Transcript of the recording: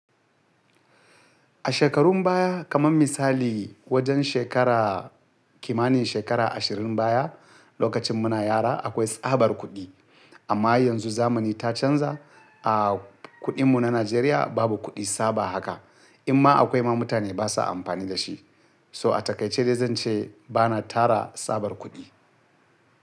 A shekarun baya, kamar misali wajen shekara kimanin shekara ashirin baya, lokacin muna yara akwai tsabar kuɗi. Amma yanzu zamani ta canza, a kuɗin mu na Najeriya babu kuɗi tsaba haka. Inma akwai ma mutane basa amfani da shi. To a takaice dai zan ce bana tara tsabar kuɗi.